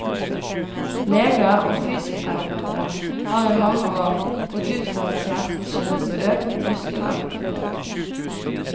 Leger og fysioterapeuter har i mange år gått ut fra at smerte skyldes økt muskeaktivitet.